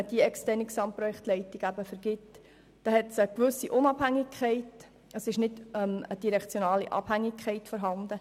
Die externe Vergabe der Gesamtprojektleitung hat den Vorteil einer gewissen Unabhängigkeit, da keine direktionale Abhängigkeit besteht.